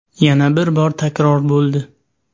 Yana bir bor takror bo‘ldi.